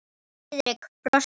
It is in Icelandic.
Friðrik brosti.